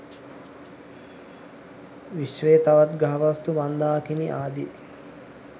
විශ්වයේ තවත් ග්‍රහවස්තු මන්ධාකිනි ආදී